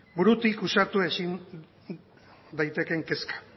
burutik usatu ezin daitekeen kezka